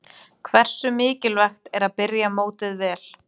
Hversu mikilvægt er að byrja mótið vel?